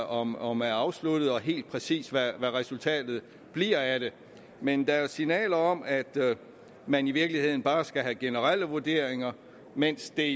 om om er afsluttet og helt præcis hvad resultatet bliver af men der er signaler om at man i virkeligheden bare skal have generelle vurderinger mens det